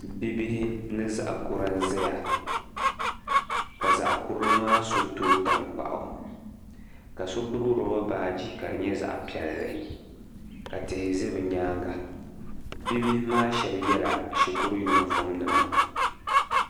Bibihi ni zaɣ' kura n-zaya ka zaɣ' kura maa so toogi taŋkpaɣu ka so gbibi loba baaji ka di nyɛ zaɣ' piɛlli ka tihi za bɛ nyaaŋga. Bibihi maa shɛba yɛla shikuru yunifɔmnima.